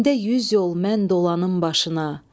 Gündə yüz yol mən dolanım başına.